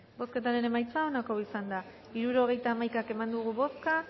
bozketaren emaitza onako izan da hirurogeita hamaika eman dugu bozka